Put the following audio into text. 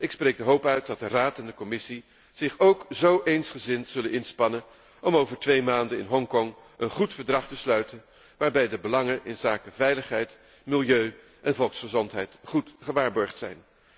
Ik spreek de hoop uit dat de Raad en de Commissie zich ook zo eensgezind zullen inspannen om over twee maanden in Hongkong een goed verdrag te sluiten waarbij de belangen inzake veiligheid, milieu en volksgezondheid goed gewaarborgd zijn.